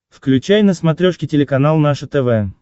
включай на смотрешке телеканал наше тв